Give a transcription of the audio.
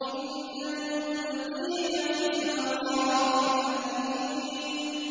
إِنَّ الْمُتَّقِينَ فِي مَقَامٍ أَمِينٍ